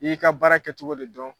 N'i y'i ka baara kɛcogo de dɔn.